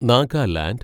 Nagaland